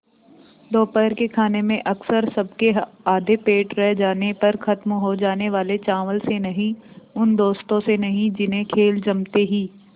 दोपहर के खाने में अक्सर सबके आधे पेट रह जाने पर ख़त्म हो जाने वाले चावल से नहीं उन दोस्तों से नहीं जिन्हें खेल जमते ही